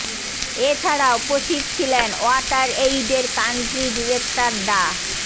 এ ছাড়া উপস্থিত ছিলেন ওয়াটার এইডের কান্ট্রি ডিরেক্টর ডা